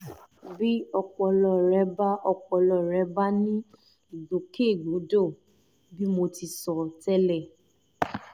bí ọpọlọ rẹ bá ọpọlọ rẹ bá ní ìgbòkègbodò bí mo ti sọ tẹ́lẹ̀